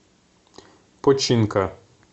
починка